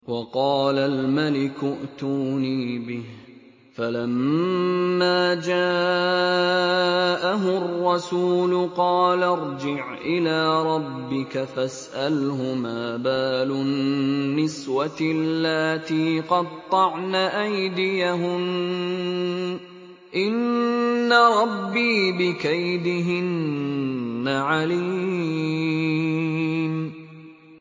وَقَالَ الْمَلِكُ ائْتُونِي بِهِ ۖ فَلَمَّا جَاءَهُ الرَّسُولُ قَالَ ارْجِعْ إِلَىٰ رَبِّكَ فَاسْأَلْهُ مَا بَالُ النِّسْوَةِ اللَّاتِي قَطَّعْنَ أَيْدِيَهُنَّ ۚ إِنَّ رَبِّي بِكَيْدِهِنَّ عَلِيمٌ